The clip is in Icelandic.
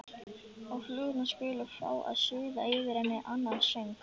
Og flugurnar skulu fá að suða yfir henni annan söng.